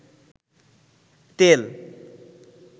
তেল